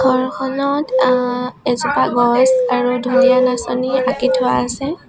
ঘৰখনত আ এজোপা গছ আৰু ধুনীয়া নাচনী আঁকি থোৱা আছে।